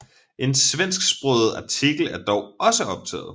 En svensksproget artikel er dog også optaget